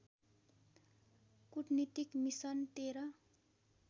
कुटनीतिक मिसन १३